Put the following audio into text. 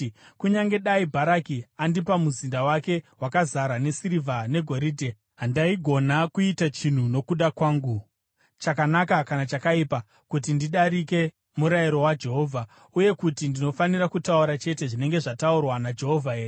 ‘Kunyange dai Bharaki andipa muzinda wake wakazara nesirivha negoridhe, handaigona kuita chinhu nokuda kwangu, chakanaka kana chakaipa, kuti ndidarike murayiro waJehovha, uye kuti ndinofanira kutaura chete zvinenge zvataurwa naJehovha here’?